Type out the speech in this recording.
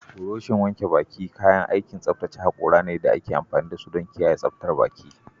burushin wanke baki kayan aikin tsaftace hakora ne da ake amfani da su don kiyaye tsaftar baki.